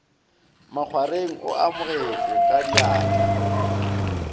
makgwareng o amogetšwe ka atla